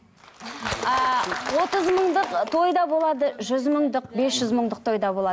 ааа отыз мыңдық ы той да болады жүз мыңдық бес жүз мыңдық той да болады